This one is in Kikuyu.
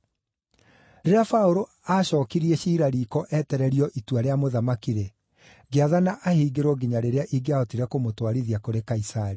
Rĩrĩa Paũlũ aacookirie ciira riiko etererio itua rĩa Mũthamaki-rĩ, ngĩathana ahingĩrwo nginya rĩrĩa ingĩahotire kũmũtwarithia kũrĩ Kaisari.”